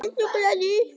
Allir glaðir.